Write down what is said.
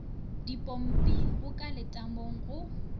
dipompi go ka letamong go